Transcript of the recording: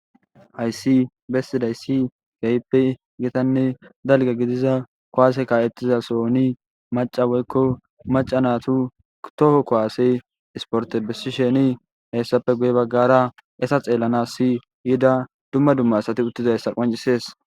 Hayssi bessidayssi geyppe gitanne dalga gidiza kowaase ka'ettiza sooni maca woykko macanatu toho kowaasey isporte bessi sheni heyssappe guye baggara esa xeellanas si yida dumma dumma asati uttizayssa qancisees.